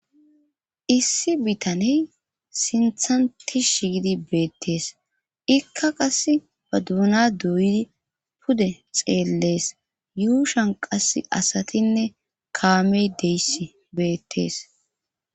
Issi bitaney sinthanti shigidi beettees ikka qas ba duuna duuydi pude xeellees yuushan qas asatinne kaamey deys beettees